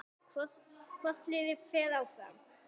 Hvort liðið fer áfram?